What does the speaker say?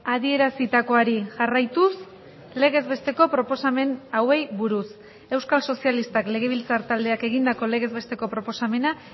adierazitakoari jarraituz legez besteko proposamen hauei buruz euskal sozialistak legebiltzar taldeak egindako legez besteko proposamena